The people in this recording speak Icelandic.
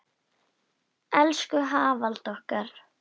Elsku Hafalda okkar.